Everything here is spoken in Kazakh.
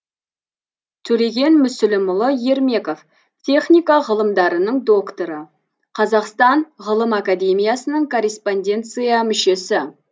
төлеген мүсілімұлы ермеков техника ғылымдарының докторы қазақстан ғылым академиясының корреспонденция мүшесі